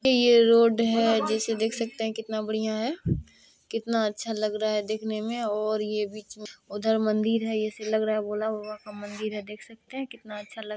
ये रोड है जैसे देख सकते हैं कितना बढ़िया है कितना अच्छा लग रहा है देखने में और ये बीच में उधर मंदिर है। ऐसे लग रहा है भोला बाबा का मंदिर है देख सकते है कितना अच्छा लग--।